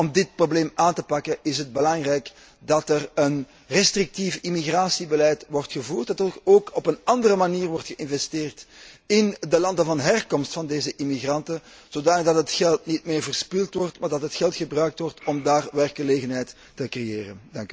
Maar om dit probleem aan te pakken is het belangrijk dat er een restrictief immigratiebeleid wordt gevoerd, dat er ook op een andere manier wordt geïnvesteerd in de landen van herkomst van deze immigranten, zodanig dat het geld niet meer verspild wordt, maar dat het geld gebruikt wordt om daar werkgelegenheid te creëren.